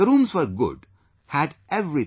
The rooms were good; had everything